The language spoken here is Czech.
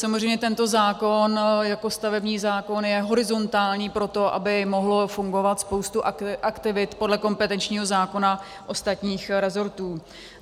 Samozřejmě tento zákon jako stavební zákon je horizontální proto, aby mohla fungovat spousta aktivit podle kompetenčního zákona ostatních resortů.